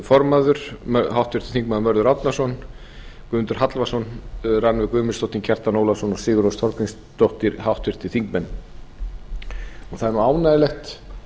formaður háttvirtur þingmaður mörður árnason guðmundur hallvarðsson rannveig guðmundsdóttir kjartan ólafsson sigurrós þorgrímsdóttir háttvirtir þingmenn það er nú ánægjulegt